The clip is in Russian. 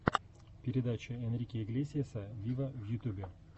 передача энрике иглесиаса виво в ютюбе